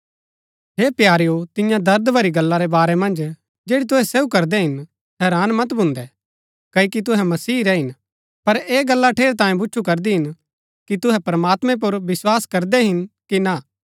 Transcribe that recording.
हे प्यारेओ तिन्या दर्द भरी गल्ला रै बारै मन्ज जैड़ी तुहै सहू करदै हिन तुहै हैरान मत भून्दै क्ओकि तुहै मसीह रै हिन पर ऐह गल्ला ठेरैतांये भूच्चु करदी हिन कि तुहै प्रमात्मैं पुर विस्वास करदै हिन कि ना